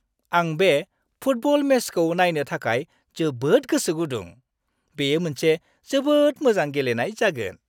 आं बे फुटबल मेचखौ नायनो थाखाय जोबोद गोसो गुदुं! बेयो मोनसे जोबोद मोजां गेलेनाय जागोन।